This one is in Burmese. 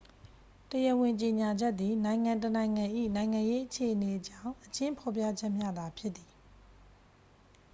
တရားဝင်ကြေညာချက်သည် နိုင်ငံတစ်နိုင်ငံ၏ နိုင်ငံရေးအခြေအနေအကြောင်း အကျဉ်းဖော်ပြချက်မျှသာဖြစ်သည်